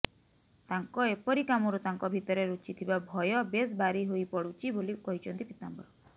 ତାଙ୍କ ଏପରି କାମରୁ ତାଙ୍କ ଭିତରେ ଲୁଚିଥିବା ଭୟ ବେଶ ବାରି ହୋଇ ପଡୁଛି ବୋଲି କହିଛନ୍ତି ପୀତାମ୍ବର